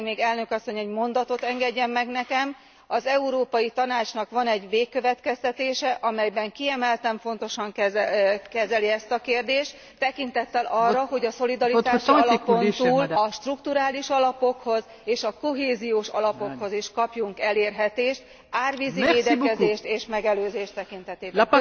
Elnök asszony egy mondatot engedjen meg nekem, az Európai Tanácsnak van egy végkövetkeztetése, amelyben kiemelten fontosan kezeli ezt a kérdést, tekintettel arra, hogy a szolidaritási alapon túl a strukturális alapokhoz és kohéziós alapokhoz is kapjunk elérhetést árvízi védekezés és megelőzés tekintetében.